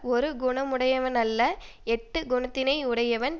ஒரு குணமுமுடையனவல்ல எட்டுக் குணத்தினை யுடையவன்